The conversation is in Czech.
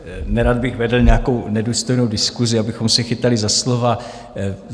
Nerad bych vedl nějakou nedůstojnou diskusi, abychom se chytali za slova.